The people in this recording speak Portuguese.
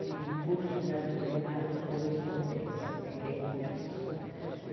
Tinha um curso de arte culinária por correspondência, eu fiquei com isso.